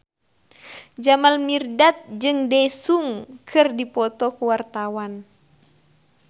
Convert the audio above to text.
Jamal Mirdad jeung Daesung keur dipoto ku wartawan